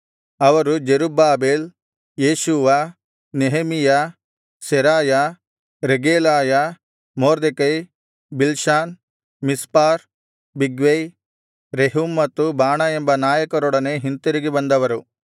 ಅವರು Zerubbabel Jeshua Nehemiah Seraiah ರೆಗೇಲಾಯ Mordecai Bilshan Mispar Bigvai Rehum ಮತ್ತು ಬಾಣ ಎಂಬ ನಾಯಕರೊಡನೆ ಹಿಂತಿರುಗಿ ಬಂದವರು